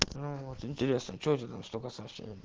ну вот интересно что у тебя там столько сообщений